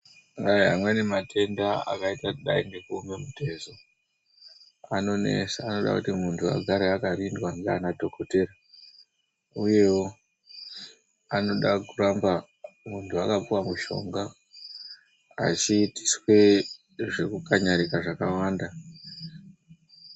Amweni matenda akadai ngekuoma mutezo anonesa anode kuti muntu agare akarindwa ndianadhokotera uyewo anoda kuramba muntu akapuwa mushonga achitiswa zvekukanjarika zvakawanda.